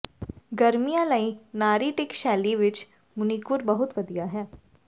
ਗਰਮੀਆਂ ਲਈ ਨਾਰੀਟਿਕ ਸ਼ੈਲੀ ਵਿਚ ਮਨੀਕੁਰ ਬਹੁਤ ਵਧੀਆ ਹੈ